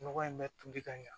Nɔgɔ in bɛ toli ka ɲa